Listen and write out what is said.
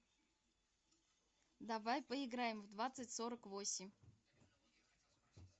давай поиграем в двадцать сорок восемь